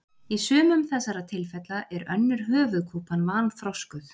Í sumum þessara tilfella er önnur höfuðkúpan vanþroskuð.